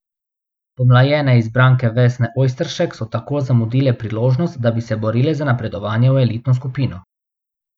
Pomlajene izbranke Vesne Ojsteršek so tako zamudile priložnost, da bi se borile za napredovanje v elitno skupino.